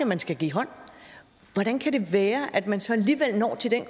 man skal give hånd hvordan kan det være at man så alligevel når til den